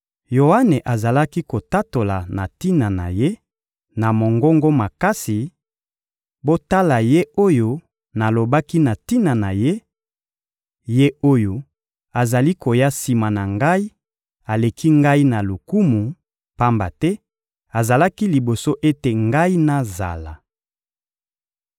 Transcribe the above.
Yoane azalaki kotatola na tina na Ye, na mongongo makasi: «Botala Ye oyo nalobaki na tina na Ye: ‹Ye oyo azali koya sima na ngai aleki ngai na lokumu, pamba te azalaki liboso ete ngai nazala.›»